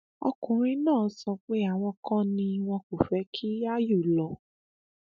ọkùnrin náà sọ pé àwọn kan ni wọn kò fẹ kí áyù lọ